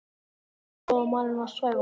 Viltu biðja góða manninn að svæfa þig?